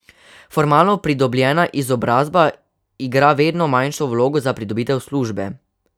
Formalno pridobljena izobrazba igra vedno manjšo vlogo za pridobitev službe.